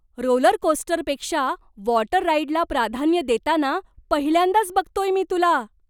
रोलरकोस्टरपेक्षा water राइडला प्राधान्य देताना पहिल्यांदाच बघतोय मी तुला!